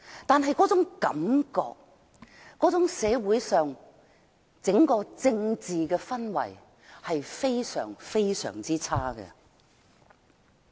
但是，這種感覺和社會的政治氛圍非常差。